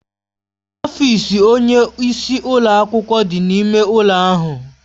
Ọfịs onye isi ụlọ akwụkwọ dị n'ime ụlọ ahụ.